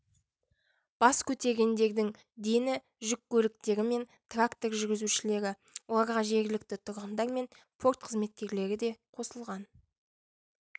бас көтергендердің дені жүк көліктері мен трактор жүргізушілері оларға жергілікті тұрғындар мен порт қызметкерлері де қосылған